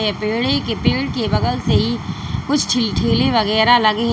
पेड़े के पेड़ के बगल से ही कुछ तिल ठेले वगैरह लगे हैं।